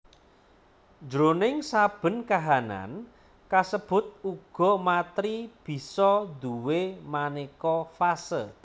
Jroning saben kahanan kasebut uga matèri bisa duwé manéka fase